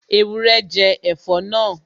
Ewúrẹ́ jẹ ẹ̀fọ́ náà